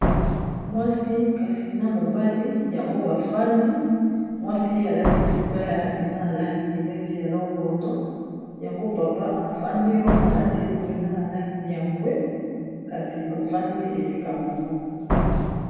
mwasi kasi na mobali yango bafandi mwasi ye alati libaya eza na langi neti ya longondo yango papa efandi wana alati elamba eza na langi ya mbwe kasi bafandi esika moko